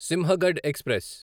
Sinhagad express